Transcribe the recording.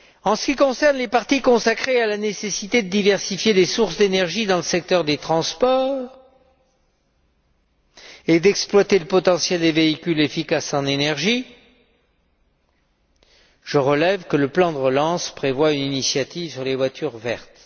En ce qui concerne les parties consacrées à la nécessité de diversifier les sources d'énergie dans le secteur des transports et d'exploiter le potentiel des véhicules efficaces en énergie, je relève que le plan de relance prévoit une initiative sur les voitures vertes.